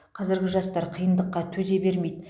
қазіргі жастар қиындыққа төзе бермейді